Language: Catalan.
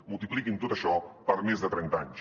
multipliquin tot això per més de trenta anys